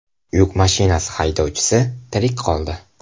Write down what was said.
Yuk mashinasi haydovchisi tirik qoldi.